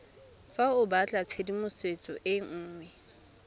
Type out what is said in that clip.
fa o batlatshedimosetso e nngwe